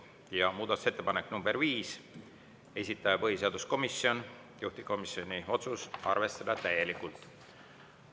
Ja muudatusettepanek nr 5, esitaja põhiseaduskomisjon, juhtivkomisjoni otsus: arvestada täielikult.